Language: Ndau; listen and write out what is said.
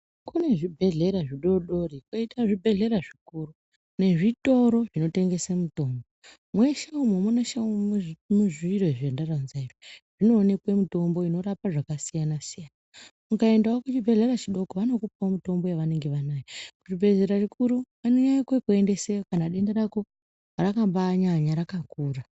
Kune zvibhedhlera zvidodori kwoita zvibhedhlera zvikuru nezvitoro zvinotengesa mutombo mweshe muMu muneshe munumu zviro zvandaronza izvi zvinoonekwe mutombo inorapa zvakasiyana siyana ukaendawo kuzvibhedhlera chidoko vanokupe mutombo yavanenge vanayo zvibhedhlera zvikuru vanonyanye kukuendeseyo kana denda rako rakambanyanya rakakura.